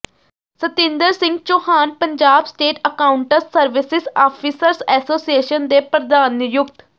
Satinder Singh Chauhan Punjab state accounts services officers association ਦੇ ਪ੍ਰਧਾਨ ਨਿਯੁਕਤ